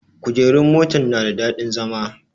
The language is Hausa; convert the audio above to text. Kujerun motan na da daɗin zama